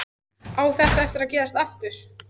Á þetta eftir að gerast aftur?